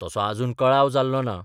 तसो आजून कळाव जाल्लो ना.